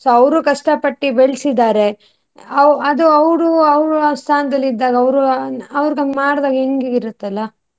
So ಅವ್ರು ಕಷ್ಟ ಪಟ್ಟಿ ಬೆಳ್ಸಿದ್ದಾರೆ ಅವ್ ಅದು ಅವ್ರು ಅವರ ಸ್ಥಾನದಲ್ಲಿ ಇದ್ದಾಗ ಅವ್ರು ಅವ್ರುಗಂಗ್ ಮಾಡುದಾಗ ಹೆಂಗ್ ಇರುತ್ತಲ್ಲ.